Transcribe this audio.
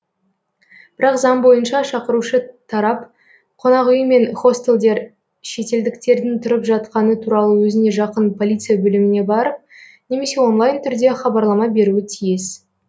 бірақ заң бойынша шақырушы тарап қонақүй мен хостелдер шетелдіктердің тұрып жатқаны туралы өзіне жақын полиция бөліміне барып немесе онлайн түрде хабарлама беруі тиіс